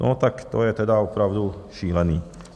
No tak to je tedy opravdu šílený.